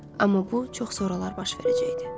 Amma bu çox soralar baş verəcəkdi.